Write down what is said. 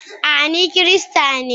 a, ni Kirista ne